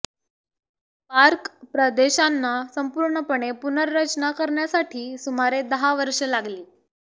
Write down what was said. park प्रदेशांना संपूर्णपणे पुनर्रचना करण्यासाठी सुमारे दहा वर्षे लागली